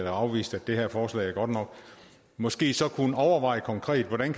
har afvist at det her forslag er godt nok måske så kunne overveje konkret hvordan